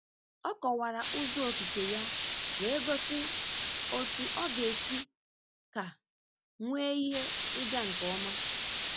Ọ kọwara ụzọ okike ya wee gosi otu ọ ga-esi ka nwee ihe ịga nke ọma.